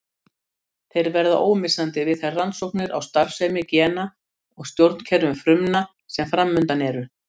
Þeir verða ómissandi við þær rannsóknir á starfsemi gena og stjórnkerfum frumna sem framundan eru.